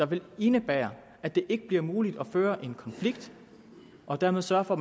vil indebære at det ikke bliver muligt at køre en konflikt og dermed sørge for